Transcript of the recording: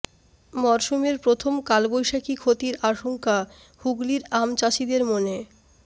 মরসুমের প্রথম কালবৈশাখী ক্ষতির আশঙ্কা হুগলির আম চাষিদের মনে